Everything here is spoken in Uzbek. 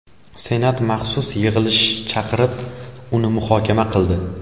Senat maxsus yig‘ilish chaqirib, uni muhokama qildi .